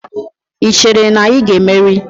Ị chere na ị ga-emeri?